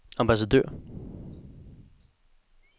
ambassadør